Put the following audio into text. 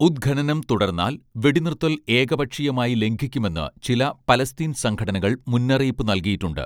ഉത്ഖനനം തുടർന്നാൽ വെടിനിർത്തൽ ഏകപക്ഷീയമായി ലംഘിക്കുമെന്ന് ചില പലസ്തീൻ സംഘടനകൾ മുന്നറിയിപ്പ് നൽകിയിട്ടുണ്ട്